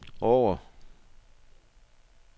Årre